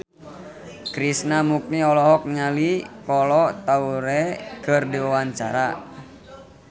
Krishna Mukti olohok ningali Kolo Taure keur diwawancara